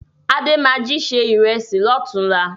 Adé máa jí se ìrẹsì lọ́tùn-únla